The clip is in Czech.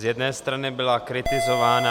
Z jedné strany byla kritizována...